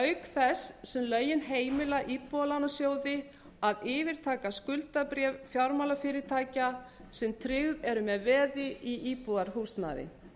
auk þess sem lögin heimila íbúðalánasjóði að yfirtaka skuldabréf fjármálafyrirtækja sem tryggð eru með veði í íbúðarhúsnæði